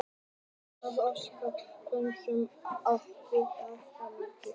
Fótbolti.net óskar Valsmönnum og Þrótturum innilega til hamingju með árangurinn.